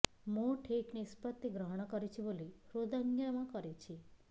ମୁଁ ଠିକ୍ ନିଷ୍ପତ୍ତି ଗ୍ରହଣ କରିଛି ବୋଲି ହୃଦୟଙ୍ଗମ କରୁଛି